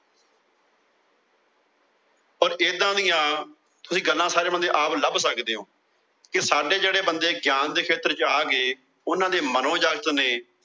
ਪਰ ਏਦਾਂ ਦੀਆ ਗੱਲਾਂ ਤੁਸੀਂ ਆਪ ਸਾਰੇ ਬੰਦੇ ਲੱਭ ਸਕਦੇ ਓ। ਕਿ ਸਾਡੇ ਜਿਹੜੇ ਬੰਦੇ ਗਿਆਨ ਦੇ ਖੇਤਰ ਚ ਆ ਗਏ। ਉਹਨਾਂ ਦੇ ਮਨੋਜਗਤ ਨੇ